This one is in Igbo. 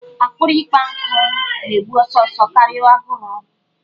Akpịrị ikpọ nkụ na-egbu ọsọ ọsọ karịa agụrụ.